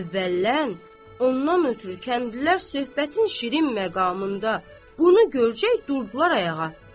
Əvvəllən, ondan ötrü kəndlilər söhbətin şirin məqamında bunu görəcək durdular ayağa.